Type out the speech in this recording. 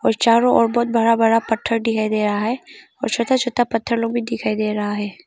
चारों ओर बहोत बड़ा बड़ा पत्थर दिखाई दे रहा है और छोटा छोटा पत्थर लोग भी दिखाई दे रहा है।